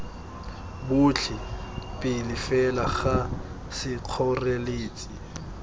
botlhe pele fela ga sekgoreletsi